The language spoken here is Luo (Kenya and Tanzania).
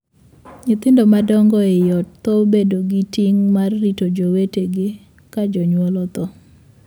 Nyithindo madongo ei ot thoro bedo gi ting' mar rito jowetege ka jonyuol othoo.